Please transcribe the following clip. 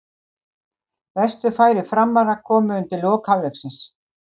Bestu færi Framara komu undir lok hálfleiksins.